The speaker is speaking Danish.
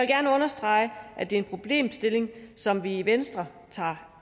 gerne understrege at det er en problemstilling som vi i venstre tager